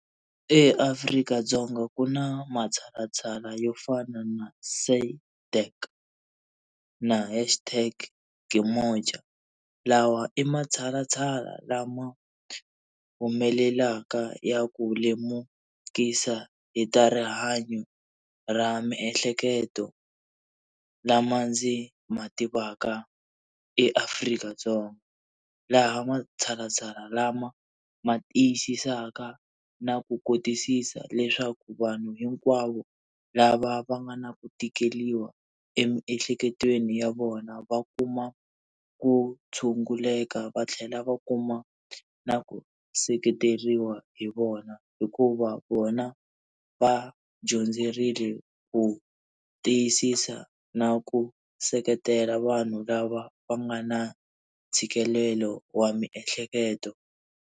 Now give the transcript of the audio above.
EAfrika-Dzonga ku na matshalatshala yo fana na SADEC na ya hashtag KeMoja. Lawa i matshalatshala lama humelelaka ya ku lemukisa hi ta rihanyo ra miehleketo lama ndzi ma tivaka eAfrika-Dzonga. Laha matshalatshala lama ma tiyisisaka na ku kotisisa leswaku vanhu hinkwavo lava va nga na ku tikeriwa emiehleketweni ya vona va kuma ku tshunguleka, va tlhela va kuma na ku seketeriwa hi vona. Hikuva vona va dyondzerile ku tiyisisa na ku seketela vanhu lava va nga na ntshikelelo wa miehleketo.